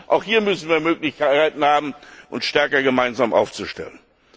Auch hier müssen wir die Möglichkeit haben, uns stärker gemeinsam aufzustellen.